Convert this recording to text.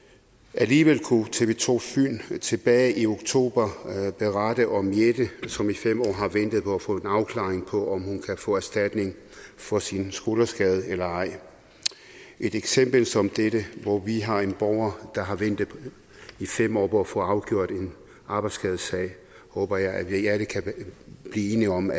alligevel kunne tv to tilbage i oktober berette om jette som i fem år har ventet på at få en afklaring på om hun kan få erstatning for sin skulderskade eller ej et eksempel som dette hvor vi har en borger der har ventet i fem år på at få afgjort en arbejdsskadesag håber jeg at vi alle kan blive enige om